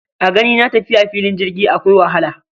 A ganina tafiya fillin jirgi akwai wahala